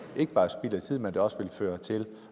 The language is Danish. ikke bare er spild af tid men at det også vil føre til